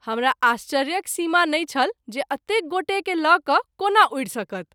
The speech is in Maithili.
हमरा आश्चर्यक सीमा नहिं छल जे अतेक गोटे के ल’ क’ कोना उड़ि सकत।